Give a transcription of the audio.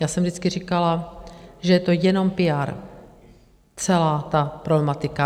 Já jsem vždycky říkala, že je to jenom píár, celá ta problematika.